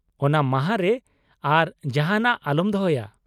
ᱚᱱᱟ ᱢᱟᱦᱟ ᱨᱮ ᱟᱨ ᱡᱟᱦᱟᱸᱱᱟᱜ ᱟᱞᱚᱢ ᱫᱚᱦᱚᱭᱟ ᱾